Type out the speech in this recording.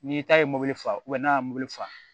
N'i ta ye fa n'a ye mobili fa